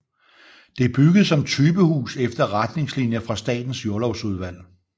Det er bygget som typehus efter retningslinjer fra Statens Jordlovsudvalg